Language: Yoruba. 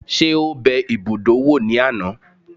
Ṣé ó bẹ ibùdó wò ní àná?